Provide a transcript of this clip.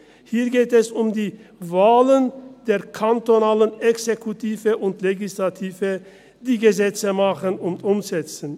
Hier geht es um die Wahlen der kantonalen Exekutive und Legislative, die Gesetze machen und umsetzen.